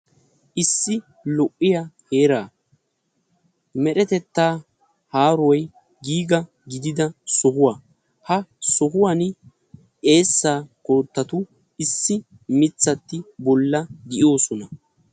Issi lo'iya heera meretetta haaroy giiga gididda sohuwa hegan issi mittati de'osonna.